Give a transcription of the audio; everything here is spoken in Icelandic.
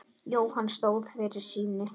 Jóhann stóð fyrir sínu.